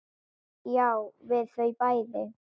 Já, við þau bæði.